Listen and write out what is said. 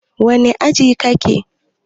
wane aji kake?